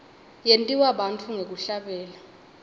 yentiwa bantfu ngekuhlabelela